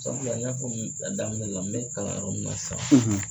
Sabula n y'a fɔ i ye a daminɛ la n bɛ kalanyɔrɔ min ma sisan.